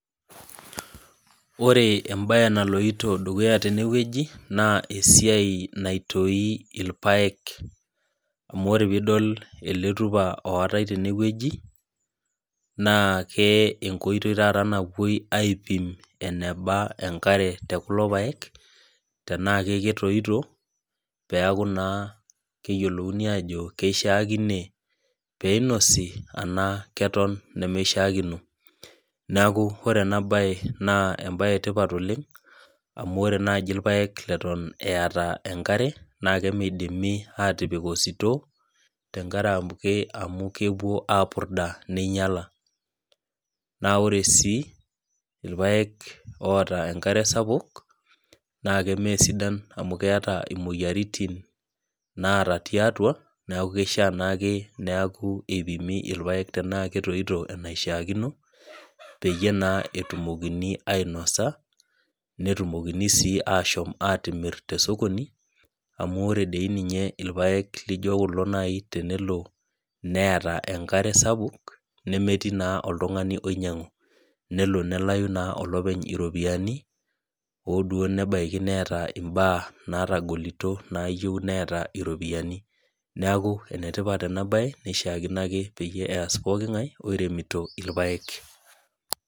Ore ebae naloito dukuya tenewueji, naa esiai naitoi irpaek. Amu ore pidol ele tupa ootai tenewueji, naa ke enkoitoi taata naloi aipim eneba enkare tekulo paek, tenaa keketoito, peeku naa keyiolouni ajo keishaakine peinosi, anaa keton nemeshaakino. Neeku ore enabae naa ebae etipat oleng, amu ore naji irpaek leton eeta enkare, nakemidimi atipik ositoo, tenkaremke amu kepuo apurda neinyala. Na ore si irpaek oota enkare sapuk, nake mesidan amu keeta imoyiaritin naata tiatu, neeku kishaa naake neeku ipimi irpaek tenaa ketoito enashaakino, peyie etumokini ainosa, netumokini si ashom atimir tesokoni, amu ore doi ninye irpaek lijo kulo nai tenelo neeta enkare sapuk, nemetii naa oltung'ani oinyang'u. Nelo nelayu naa olopeny iropiyiani, oduo nebaiki neeta imbaa natagolito nayieu neeta iropiyiani. Neeku enetipat enabae, nishaakino ake peyie eas pooking'ae oiremito irpaek.